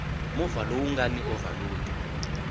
movha lowu nga ni ovhalodi